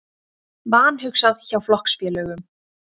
Vanhugsað hjá flokksfélögum